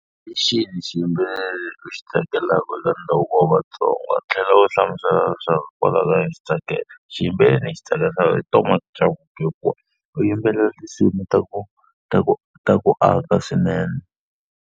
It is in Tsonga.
Hi xihi xiyimbeleri lexi u xi tsakelaka eka ndhavuko wa Vatsonga? Tlhela u hlamusela leswaku hikwalaho ka yini u xi tsakela. Xiyimbeleri lexi ndzi xi tsakelaka i Thomas Chauke u yimbelela tinsimu ta ku ta ku ta ku aka swinene.